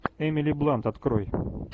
эмили блант открой